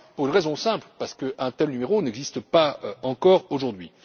Pour une raison simple parce qu'un tel numéro n'existe pas encore aujourd'hui.